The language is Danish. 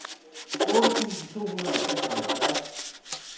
otte tusind to hundrede og seksoghalvfjerds